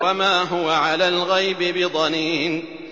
وَمَا هُوَ عَلَى الْغَيْبِ بِضَنِينٍ